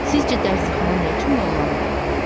Sizcə dərzixana nə üçün bağlandı?